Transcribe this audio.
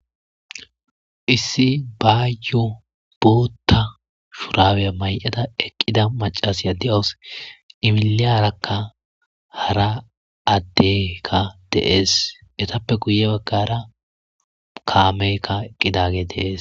Issi bayo botta shurabbe mayada eqqida maccasiya de'awus i milliyarakka hara addeyikka de'esi ettappe guye baggara kammeyika eqqidageyi bettes.